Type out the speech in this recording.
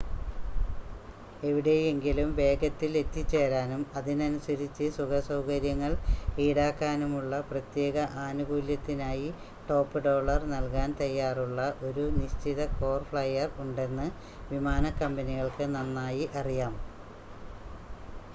എവിടെയെങ്കിലും വേഗത്തിൽ എത്തിച്ചേരാനും അതിനനുസരിച്ച് സുഖസൗകര്യങ്ങൾ ഈടാക്കാനുമുള്ള പ്രത്യേക ആനുകൂല്യത്തിനായി ടോപ്പ് ഡോളർ നൽകാൻ തയ്യാറുള്ള ഒരു നിശ്ചിത കോർ ഫ്ലൈയർ ഉണ്ടെന്ന് വിമാനക്കമ്പനികൾക്ക് നന്നായി അറിയാം